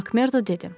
Makmerdo dedi.